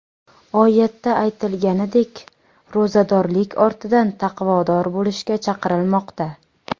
Oyatda aytilganidek ro‘zadorlik ortidan taqvodor bo‘lishga chaqirilmoqda.